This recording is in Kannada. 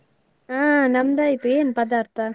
ಅಹ್ ನಮ್ದ್ ಆಯ್ತು, ಏನು ಪದಾರ್ಥ?